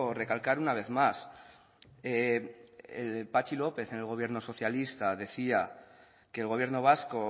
recalcar una vez más patxi lópez en el gobierno socialista decía que el gobierno vasco